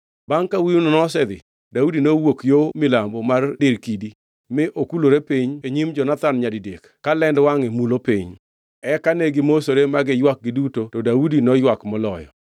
Bangʼ ka wuowino nosedhi, Daudi nowuok yo milambo mar dir kidi, mi okulore piny e nyim Jonathan nyadidek ka lend wangʼe mulo piny. Eka ne gimosore ma giywak giduto to Daudi noywak moloyo.